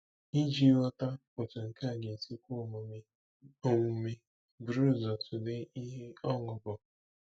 Iji ghọta otú nke a ga-esi kwe omume, omume, buru ụzọ tụlee ihe ọṅụ bụ.